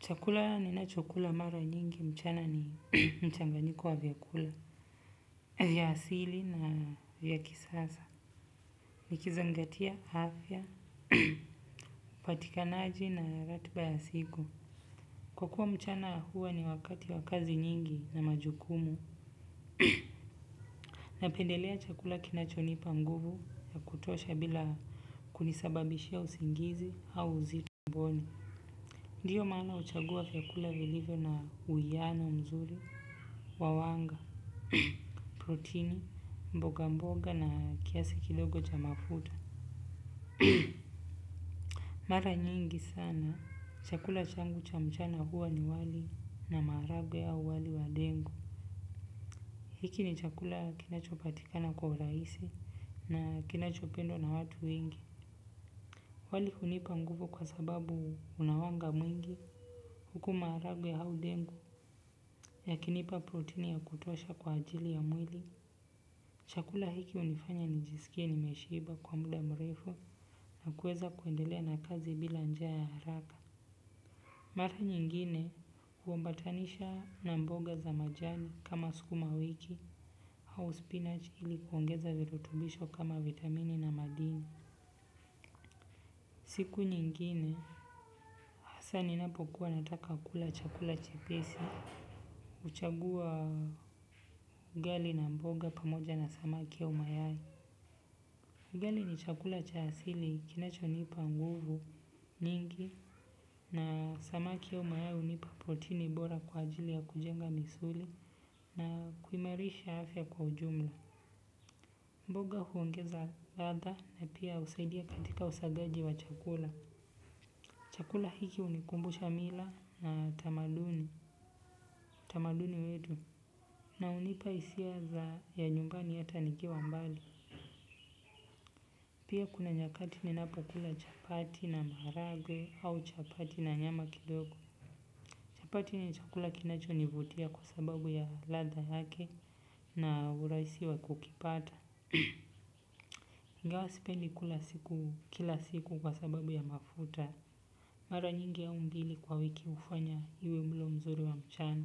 Chakula ninacho kula mara nyingi mchana ni mchanganyiko wa vyakula, vya asili na vya kisasa. Niki zingatia afya, upatikanaji na ratiba ya siku. Kwa kuwa mchana huwa ni wakati wa kazi nyingi na majukumu. Napendelea chakula kinacho nipa nguvu ya kutosha bila kunisababishia usingizi au uzi tumboni. Ndiyo maana huchagua vyakula vilivyo na uiano nzuri, wa wanga, proteini, mboga mboga na kiasi kidogo cha mafuta. Mara nyingi sana, chakula changu cha mchana huwa ni wali na maragwe au wali wa dengu. Hiki ni chakula kinachopatikana kwa utahisi na kinachopendwa na watu wengi. Wali hunipa nguvu kwa sababu una wanga mwingi, huku maharagwe au ndengu, yakinipa protini ya kutosha kwa ajili ya mwili. Chakula hiki hunifanya nijisikie nimeshiba kwa muda mrefu na kuemweza kuendelea na kazi bila njaa haraka. Mara nyingine hu ambatanisha na mboga za majani kama skuma wiki au spinach ili kuongeza virutubisho kama vitamini na madini. Siku nyingine hasa ninapo kuwa nataka kula chakula chepesi huchagua ugali na mboga pamoja na samaki au mayai ugali ni chakula cha asili kinacho nipa nguvu nyingi na samaki au mayai hunipa protini bora kwa ajili ya kujenga misuli na kuimarisha afya kwa ujumla. Mboga huongeza ladha na pia husaidia katika usagaji wa chakula. Chakula hiki unikumbusha mila na tamaduni. Tamaduni wetu. Na hunipa hisia za nyumbani ata nikiwa mbali. Pia kuna nyakati ni napo kula chapati na maragwe au chapati na nyama kidogo. Chapati ni chakula kinacho nivutia kwa sababu ya ladha yake na urahusi wa kukipata. Ingawa sipendi kula siku kila siku kwa sababu ya mafuta. Mara nyingi au mbili kwa wiki ufanya iwe mlo mzuri wa mchana.